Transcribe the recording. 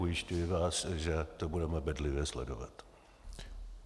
Ujišťuji vás, že to budeme bedlivě sledovat.